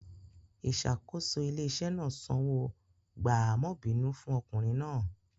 Ìṣàkóso ilé-iṣẹ́ náà sanwó gbààmọ́bìínú fún ọkùnrin náà.